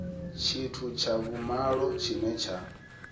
tshithu tsha vhumalo tshine tsha